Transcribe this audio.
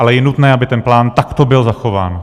Ale je nutné, aby ten plán takto byl zachován.